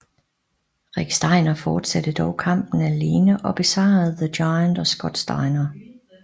Rick Steiner fortsatte dog kampen alene og besejrede The Giant og Scott Steiner